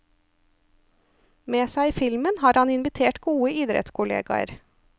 Med seg i filmen har han invitert gode idrettskollegaer.